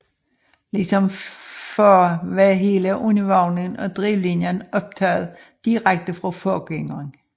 Ligesom før var hele undervognen og drivlinien overtaget direkte fra forgængeren